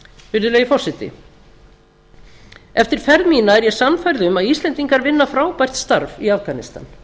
virðulegi forseti eftir ferð mína er ég sannfærð um að íslendingar vinna frábært starf í afganistan